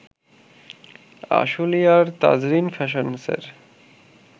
আশুলিয়ার তাজরিন ফ্যাশন্সের